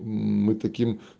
мы таким